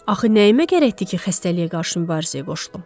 Axı nəyimə gərəkdir ki, xəstəliyə qarşı mübarizəyə qoşulum?